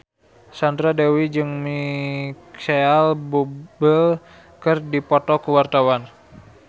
Sandra Dewi jeung Micheal Bubble keur dipoto ku wartawan